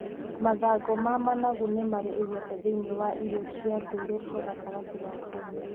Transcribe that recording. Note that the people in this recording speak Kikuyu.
Mathangũ ma managu nĩmarĩ igweta thĩiniĩ wa irio cia ndũire cia gatagatĩ ga Kenya.